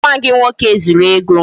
Nwa gị nwoke zuru ego m